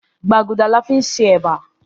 Gbágùdáá la fin ṣe eba.